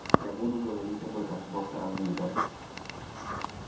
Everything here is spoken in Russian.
я буду говорить об этом с доктором мидом